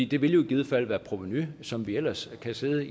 det vil jo i givet fald være et provenu som vi ellers kan sidde